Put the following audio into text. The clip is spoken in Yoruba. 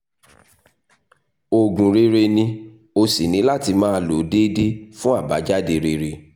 oògùn rere ni o o sì ní láti máa lo o déédéé fún àbájáde rere